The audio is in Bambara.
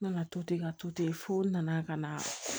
N nana to ten ka to ten fo n nana ka na